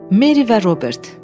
Meri və Robert.